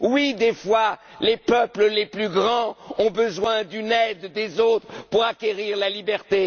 Oui, parfois, les peuples les plus grands ont besoin d'une aide des autres peuples pour acquérir la liberté.